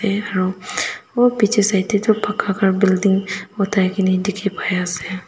side tae tu paka kar building otai kaene dikhipaiase.